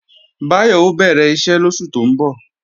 Báyọ̀ ó bẹ̀rẹ̀ iṣẹ́ lóṣù tó ń bọ̀